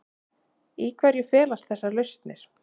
Í hverju felast þessar lausnir?